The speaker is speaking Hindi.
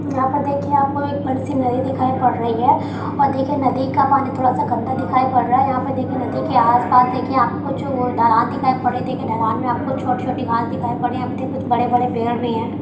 यहाँ पर देखिए आपको एक बड़ी सी नदी दिखाई पड़ रही है। और देखिए नदी का पानी थोड़ा सा गंदा दिखाई पड़ रहा है। यहाँ पर देखिए नदी के आस-पास देखे आपको कुछ ओ ढलान दिखाई पड़ रही है। देखे ढलान में आपको छोटी-छोटी घांस दिखाई पड़ रही है। कुछ बड़े-बड़े पेड़ भी हैं।